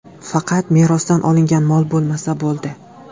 Faqat merosdan olingan mol bo‘lmasa bo‘ldi.